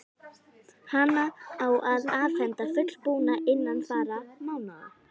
Hana á að afhenda fullbúna innan fárra mánaða.